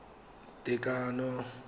tekano